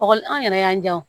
Ɔkɔli an yɛrɛ y'an jan